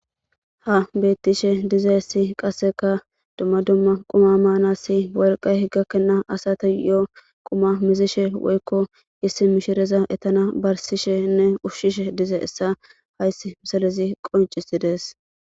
Ha betishe dizayisi qaseka duma duma quma manasi oliqayi gakena asatuyo duma duma quma muzishe woyiko issi mishireza ettana barisashenne ushashe dizayisa hayisi misilezi qoncisidesi.